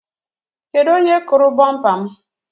Kedụ onye kụrụ bumpa m?